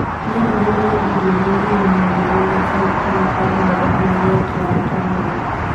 No ũhũthĩre indo iria irĩ na ũtheru ta sentimita ĩmwe igũrũ rĩa kĩongo kĩa mbere.